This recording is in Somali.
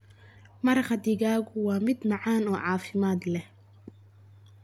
Maraq digaagu waa mid macaan oo caafimaad leh.